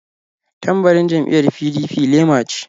Tambarin jam'iyyar PDP lema ce.